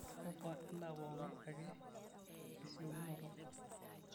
ofa endaa pooki ake esiokinoto